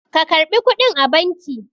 ka karɓi kuɗin a banki!